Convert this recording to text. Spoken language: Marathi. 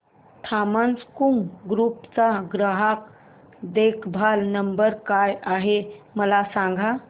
थॉमस कुक ग्रुप चा ग्राहक देखभाल नंबर काय आहे मला सांगा